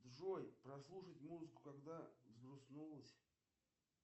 джой прослушать музыку когда взгрустнулось